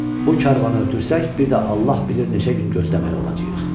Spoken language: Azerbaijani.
Bu karvanı ötürsək, bir də Allah bilir neçə gün gözləməli olacağıq”.